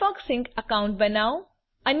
Firefox sync account બનાવો